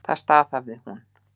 Það staðhæfði hún.